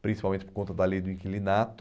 principalmente por conta da lei do inquilinato.